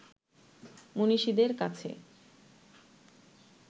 মনীষীদের কাছে